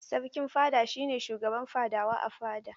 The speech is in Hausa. Sarkin fada shi ne shugaban fadawa a fada.